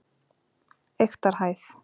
Eyktarhæð